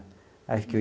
Aí fiquei.